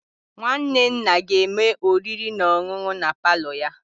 Nwanne nna ga-eme oriri na ọṅụṅụ na palo ya.